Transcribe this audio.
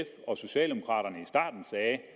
og socialdemokraterne sagde